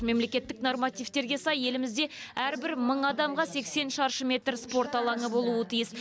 мемлекеттік нормативтерге сай елімізде әрбір мың адамға сексен шаршы метр спорт алаңы болуы тиіс